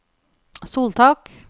soltak